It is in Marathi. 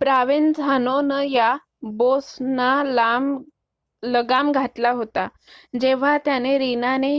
प्रोवेन्झानो न या बॉस ना लगाम घातला होता जेव्हा त्याने रीना ने